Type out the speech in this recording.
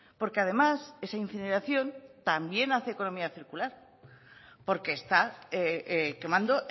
porque además esa incineración también hace economía circular porque está quemando